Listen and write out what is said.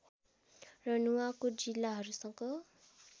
र नुवाकोट जिल्लाहरूसँग